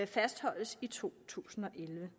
fastholdes i to tusind og elleve